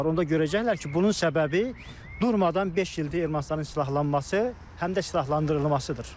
Onda görəcəklər ki, bunun səbəbi durmadan beş ildir Ermənistanın silahlanması, həm də silahlandırılmasıdır.